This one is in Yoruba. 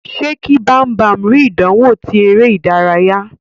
Ṣe kí Bambam ri ìdánwò ti eré ìdárayá.